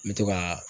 N bɛ to ka